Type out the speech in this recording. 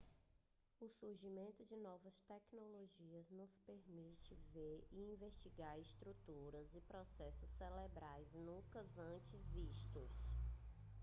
o surgimento de novas tecnologias nos permite ver e investigar estruturas e processos cerebrais nunca antes vistos